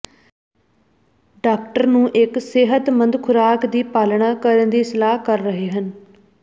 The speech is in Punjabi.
ਡਾਕਟਰ ਨੂੰ ਇੱਕ ਸਿਹਤਮੰਦ ਖੁਰਾਕ ਦੀ ਪਾਲਣਾ ਕਰਨ ਦੀ ਸਲਾਹ ਕਰ ਰਹੇ ਹਨ